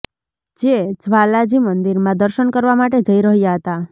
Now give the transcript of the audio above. જે જ્વાલાજી મંદિરમાં દર્શન કરવા માટે જઈ રહ્યા હતા